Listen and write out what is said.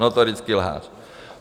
Notorický lhář.